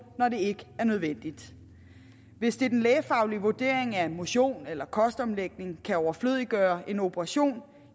når det ikke er nødvendigt hvis det er den lægefaglige vurdering at motion eller kostomlægning kan overflødiggøre en operation